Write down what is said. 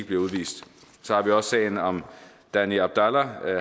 bliver udvist så har vi også sagen om danny abdalla